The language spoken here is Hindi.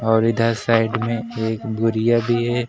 और इधर साइड में एक बोरियां भी है।